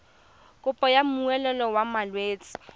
kopo ya molemo wa malwetse